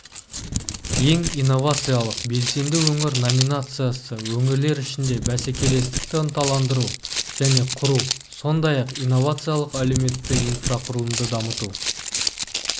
ең инновациялық белсенді өңір номинациясы өңірлер ішінде бәсекелестікті ынталандыру және құру сондай-ақ инновациялық әлеуетті инфрақұрылымды дамыту